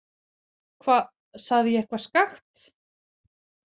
Hva, sagði ég eitthvað skakkt?